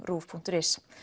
RÚV punktur is